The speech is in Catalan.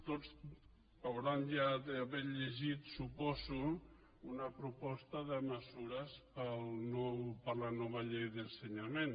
tots deuen haver llegit suposo una proposta de mesures per a la nova llei d’ensenyament